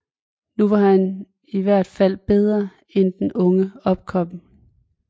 Nu var han i hvert fald bedre end den unge opkomling